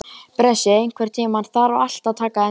Bresi, einhvern tímann þarf allt að taka enda.